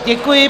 Děkuji.